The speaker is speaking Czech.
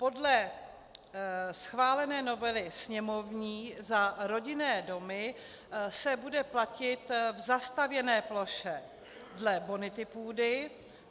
Podle schválené novely sněmovní za rodinné domy se bude platit v zastavěné ploše dle bonity půdy.